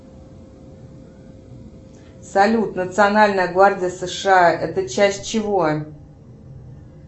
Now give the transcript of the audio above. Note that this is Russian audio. салют национальная гвардия сша это часть чего